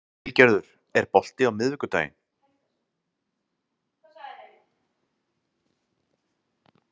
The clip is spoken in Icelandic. Vilgerður, er bolti á miðvikudaginn?